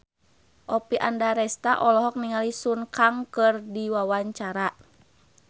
Oppie Andaresta olohok ningali Sun Kang keur diwawancara